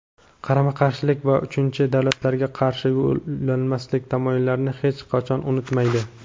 qarama-qarshilik va uchinchi davlatlarga qarshi yo‘nalmaslik tamoyillarini hech qachon unutmaydi.